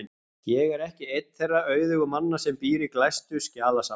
Ég er ekki einn þeirra auðugu manna sem býr í glæstu skjalasafni.